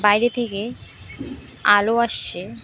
বাইরে থেকে আলো আসছে।